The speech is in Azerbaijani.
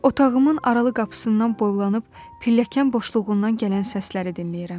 Otağımın aralı qapısından boylanıb pilləkən boşluğundan gələn səsləri dinləyirəm.